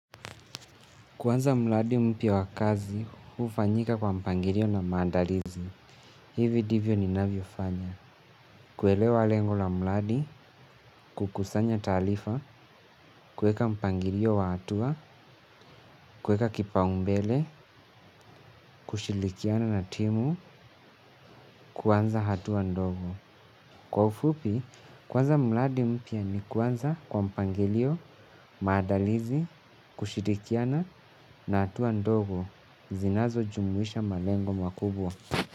Kuanza mladi mpya wa kazi, hufanyika kwa mpangirio na maandalizi. Hivi divyo ninavyofanya. Kuelewa lengo la mladi, kukusanya taalifa, kuweka mpangilio wa hatua, kuweka kipaumbele, kushilikiana na timu, kuanza hatua ndogo. Kwa ufupi, kuanza mladi mpya ni kuanza kwa mpangilio, maandalizi, kushirikiana na hatua ndogo. Zinazojumuisha malengo makubwa.